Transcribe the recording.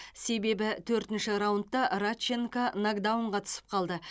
себебі төртінші раундта радченко нокдаунға түсіп қалды